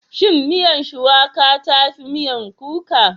Shin miyar Shuwaƙa ta fi miyan kuka?